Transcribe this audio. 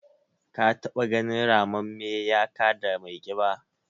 Ka taɓa ganin ramamme ya kada mai ƙiba?